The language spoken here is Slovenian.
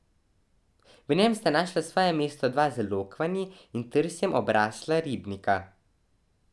V njem sta našla svoje mesto dva z lokvanji in trsjem obrasla ribnika.